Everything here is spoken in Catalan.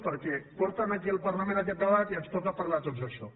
perquè porten aquí al parlament aquest debat i ens toca parlar a tots d’això